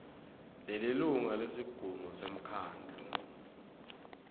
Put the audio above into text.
nelilunga lesigungu semkhandlu